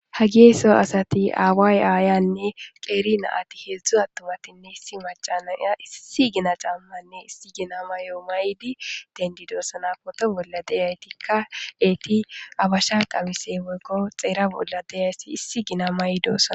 Ha geeso asati aaway aayanne qeeri naati heedzdzu attumatinne issi macanaya issi gina cammanne issi gina mayo maydi dendidoosana poto bolla deyaytikka eeti abasha qabise woykko xeera bolla deyayssi issi gina maydoosan.